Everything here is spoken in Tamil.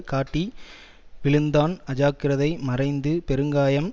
காட்டி விழுந்தான் அஜாக்கிரதை மறைந்து பெருங்காயம்